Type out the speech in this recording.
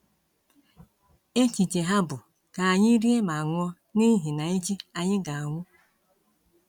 Echiche ha bụ: “Ka anyị rie ma ṅụọ, n’ihi na echi anyị ga-anwụ.”